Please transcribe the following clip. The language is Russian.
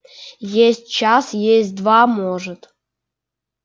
есть час есть два может